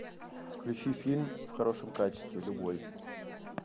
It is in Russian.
включи фильм в хорошем качестве любой